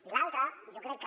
i l’altre jo crec que